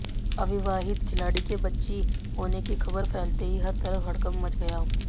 अविवाहित खिलाड़ी के बच्ची होने की खबर फैलते ही हर तरफ हड़कंप मच गया